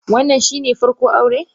Wannan shine farko aure?